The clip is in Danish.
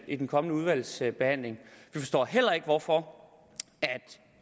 i den kommende udvalgsbehandling vi forstår heller ikke hvorfor